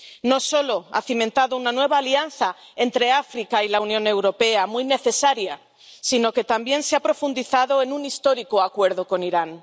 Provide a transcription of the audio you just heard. No solo ha cimentado una nueva alianza entre África y la Unión Europea, muy necesaria, sino que también ha profundizado en un histórico acuerdo con Irán.